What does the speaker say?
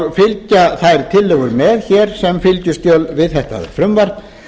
og fylgja þær tillögur með sem fylgiskjöl við þetta frumvarp